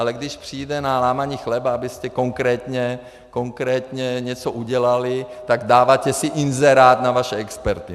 Ale když přijde na lámání chleba, abyste konkrétně něco udělali, tak dáváte si inzerát na vaše experty.